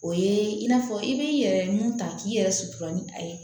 O ye in'a fɔ i bɛ i yɛrɛ mun ta k'i yɛrɛ sutura ni a ye